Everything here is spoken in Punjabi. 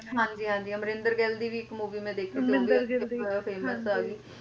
ਹਾਂਜੀ ਹਾਂਜੀ ਅਮਰਿੰਦਰ ਗਿੱਲ ਦੀ ਵੀ ਇੱਕ movie ਮੈਂ ਦੇਖੀ ਸੀ ਸਭਤੋਂ ਜ਼ਿਆਦਾ famous ਆਗੀ